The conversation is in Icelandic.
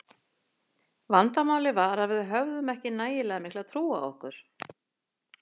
Vandamálið var að við höfðum ekki nægilega mikla trú á okkur.